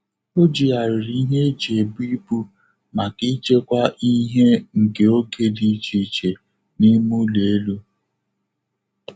Ojigharịrị ihe eji ebu ibu maka ichekwaa ihe nke oge dị iche iche n'ime ụlọ elu.